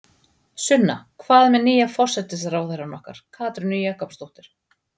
Sunna: Hvað með nýja forsætisráðherrann okkar, Katrínu Jakobsdóttur?